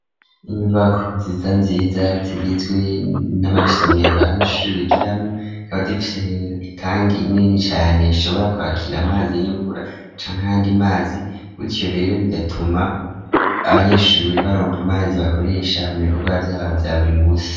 Inyubako nziza nziza zigizwe n'amasomero abanyeshuri bigiramwo zikaba zifise itangi nini cane ishobora kwakira amazi y'imvura ca ayandi mazi ico rero bigatuma abanyeshuri baronka amazi bakoresha mu bikorwa vyabo vya buri musi.